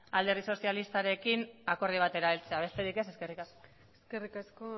alderdi sozialistarekin akordio batera heltzea besterik ez eskerrik asko eskerrik asko